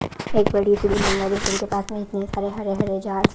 एक बड़ी सी बिल्डिंग है पास में और हरे हरे झाड़ --